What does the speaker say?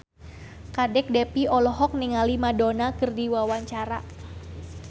Kadek Devi olohok ningali Madonna keur diwawancara